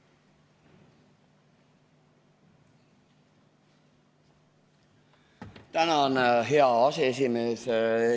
Tänan, hea aseesimees!